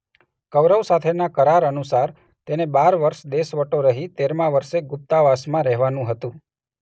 કૌરવ સાથેના કરાર અનુસાર તેને બાર વર્ષ દેશવટો સહી તેરમા વર્ષે ગુપ્તાવાસમાં રહેવાનુ હતું.